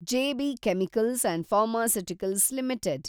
J B chemicals and pharmaceuticals limited